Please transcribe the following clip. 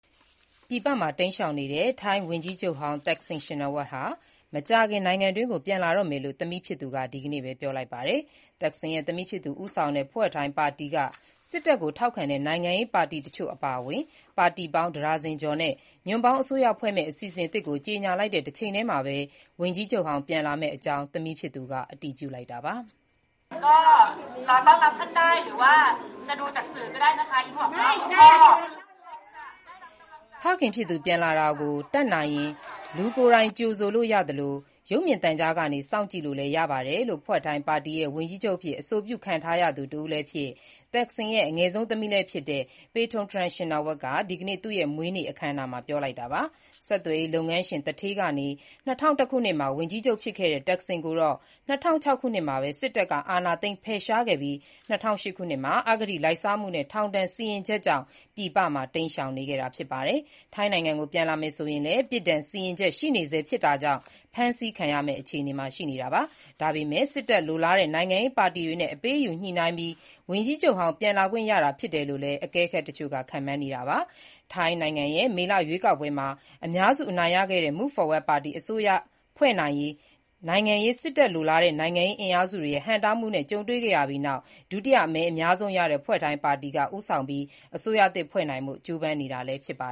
ပြည်ပမှာ တိမ်းရှောင်နေတဲ့ ထိုင်းဝန်ကြီးချုပ်ဟောင်း Thaksin Shinawatra မကြာခင် နိုင်ငံကို ပြန်လာတော့မယ်လို့ သမီးဖြစ်သူက ဒီနေ့ပဲ ပြောလိုက်ပါတယ်။ Thaksin သမီးဖြစ်သူ ဦးဆောင်တဲ့ Pheu Thai ပါတီက စစ်တပ်ကို ထောက်ခံတဲ့ နိုင်ငံရေး ပါတီတချို့ အပါအဝင် ပါတီပေါင်း ၁ ဒါဇင်ကျော်နဲ့ ညွန့်ပေါင်းအစိုးရဖွဲ့မယ့် အစီအစဉ်သစ်ကို ကြေညာလိုက်တဲ့ တချိန်တည်းမှာပဲ ဝန်ကြီးချုပ်ဟောင်း ပြန်လာမယ့်အကြောင်း သမီးဖြစ်သူက အတည်ပြုလိုက်တာပါ။ ဖခင်ဖြစ်သူ ပြန်လာတာကို တတ်နိုင်ရင် လူကိုယ်တိုင်ကြိုဆိုလို့ ရသလို၊ ရုပ်မြင်သံကြားကနေ စောင့်ကြည့်လို့လည်း ရပါတယ်လို့ Pheu Thai ပါတီရဲ့ ဝန်ကြီးချုပ်အဖြစ် အဆိုပြုခံထားရသူ တဦးလည်းဖြစ်၊ Thaksin ရဲ့ အငယ်ဆုံး သမီးလည်းဖြစ်တဲ့ Paetongtarn Shinawatra က ဒီကနေ့ သူ့ရဲ့မွေးနေ့ အခမ်းအနားမှာ ပြောလိုက်တာပါ။ ဆက်သွယ်ရေးလုပ်ငန်းရှင် သူဌေးကနေ ၂၀၀၁ ခုနှစ်မှာ ဝန်ကြီးချုပ် ဖြစ်ခဲ့တဲ့ တပ်ခ်ဆင်ကိုတော့ ၂၀၀၆ ခုနှစ်မှာပဲ စစ်တပ်က အာဏာသိမ်း ဖယ်ရှားခဲ့ပြီး၊ ၂၀၀၈ ခုနှစ်မှာ အဂတိလိုက်စားမှုနဲ့ ထောင်ဒဏ်စီရင်ချက်ကြောင့် ပြည်ပမှာ တိမ်းရှောင်နေခဲ့တာ ဖြစ်ပါတယ်။ ထိုင်းနိုင်ငံကို ပြန်လာမယ်ဆိုရင်လည်း ပြစ်ဒဏ်စီရင်ချက် ရှိနေဆဲ ဖြစ်တာကြောင့် ဖမ်းဆီးခံရမယ့် အခြေအနေမှာ ရှိနေတာပါ။ ဒါပေမဲ့လည်း စစ်တပ် လိုလားတဲ့ နိုင်ငံရေး ပါတီတွေနဲ့ အပေးအယူညှိနှိုင်းပြီး ဝန်ကြီးချုပ်ဟောင်း ပြန်လာခွင့်ရတာ ဖြစ်နိုင်တယ်လို့လည်း အကဲခတ် တချို့က ခန့်မှန်းနေတာပါ။ ထိုင်းနိုင်ငံရဲ့ မေလရွေးကောက်ပွဲမှာ အများစု အနိုင်ရခဲ့တဲ့ Move Forward Party အစိုးရဖွဲ့နိုင်ရေး စစ်တပ်လိုလားတဲ့ နိုင်ငံရေး အင်အားစုတွေရဲ့ ဟန့်တားမှုတွေ ကြုံခဲ့ရပြီးနောက် ဒုတိယမဲအများဆုံးရခဲ့တဲ့ Pheu Thai ပါတီက ဦးဆောင်ပြီး အစိုးရသစ် ဖွဲ့နိုင်ဖို့ ကြိုးပမ်းနေတာ ဖြစ်ပါ